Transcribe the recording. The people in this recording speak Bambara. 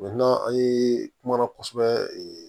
an ye kuma na kosɛbɛ